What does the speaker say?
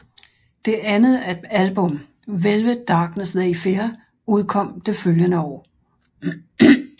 Det andet album Velvet Darkness They Fear udkom det følgende år